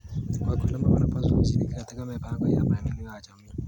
Wakulima wanapaswa kushiriki katika mipango ya maendeleo ya jamii.